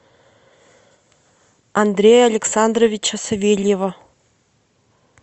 андрея александровича савельева